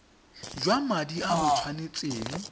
jwa madi a o tshwanetseng